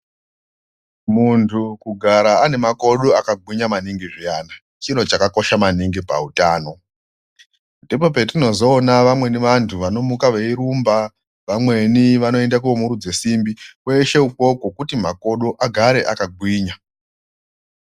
Muntu kugara ane makodo akagwinya maningi zviyana chiro chakakosha maningi pautano ndipo patinozoona vamweni vantu vanomuka veirumba vamweni vanoende kunomurudze simbi kweshe ukoko kuti agare akagwinya.